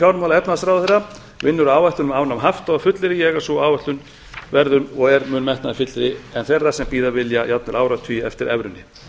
fjármála og efnahagsráðherra vinnur að áætlun um afnám hafta og fullyrði ég að sú áætlun verður og er mun metnaðarfyllri en þeirra sem bíða vilja jafnvel áratugi eftir evrunni